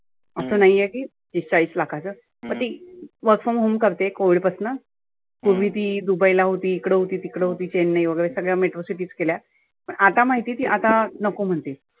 असं नाहिए की तीस चाळीस लाखाचं पण ती work from home करते covid पासनं. पुर्वी ती दुबईला होती, इकड होती, तिकड होती चेन्नई वगैरे सगळ्या metro cities केल्या. पण आता माहिती आहे आता नको म्हणते.